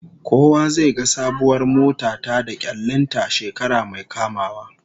Kowa zai ga sabuwar mota ta da kyallin ta shekara mai kamawa